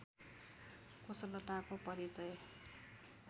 कुशलताको परिचय